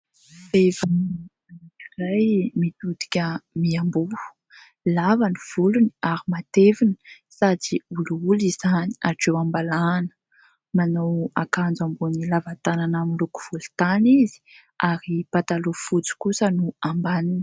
Vehivavy iray mitodika miamboho. Lava ny volony ary matevina sady olioly izany hatreo am-balahany, manao akanjo ambony lava tanana miloko volontany izy ary pataloha fotsy kosa ny ambaniny.